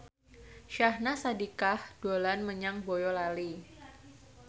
Syahnaz Sadiqah dolan menyang Boyolali